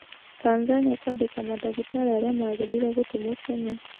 Tanzania kũandĩka mandagĩtarĩ arĩa magĩrĩire gũtũmwo Kenya